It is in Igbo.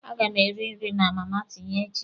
A ga m eri nri na Mama Tinye echi.